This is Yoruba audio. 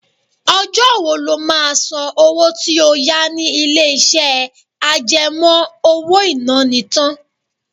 Ọjọ́ wo ló máa san owó tí ó yá ni ilé-iṣẹ́ àjẹmọ́ owó-ìná ni tán?